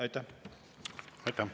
Aitäh!